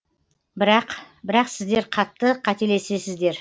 бірақ бірақ сіздер қатты қателесіздер